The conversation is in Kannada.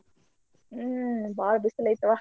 ಹ್ಮ್ ಬಾಳ್ ಬಿಸಲೈತವಾ.